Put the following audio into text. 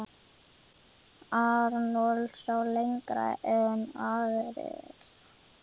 Arnold sá lengra en aðrir.